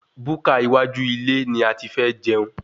Búkà iwájú ilé ni ati fẹ́ jẹun